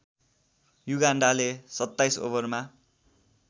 युगान्डाले २७ ओभरमा